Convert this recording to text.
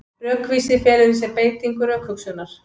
Rökvísi felur í sér beitingu rökhugsunar.